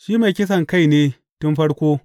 Shi mai kisankai ne tun farko.